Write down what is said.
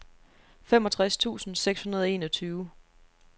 femogtres tusind seks hundrede og enogtyve